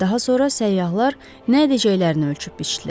Daha sonra səyyahlar nə edəcəklərini ölçüb-biçdilər.